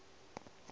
sa ja di sa tsefe